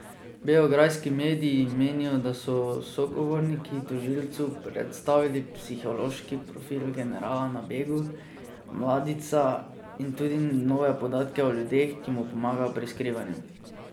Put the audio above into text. Beograjski mediji menijo, da so sogovorniki tožilcu predstavili psihološki profil generala na begu Mladića in tudi nove podatke o ljudeh, ki mu pomagajo pri skrivanju.